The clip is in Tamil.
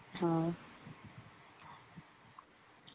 ஆ